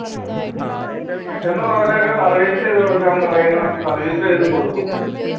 കിട്ടുന്ന work ഒക്കെ service ചെയ്തുകൊടുക്കാൻ പറയുന്ന service ചെയ്തുകൊടുക്കും